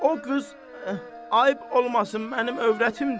O qız, ayb olmasın, mənim övrətimdir.